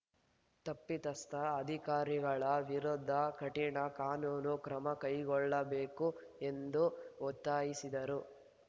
ತಪ್ಪಿತಸ್ಥ ಅಧಿಕಾರಿಗಳ ವಿರುದ್ಧ ಕಠಿಣ ಕಾನೂನು ಕ್ರಮ ಕೈಗೊಳ್ಳಬೇಕು ಎಂದು ಒತ್ತಾಯಿಸಿದರು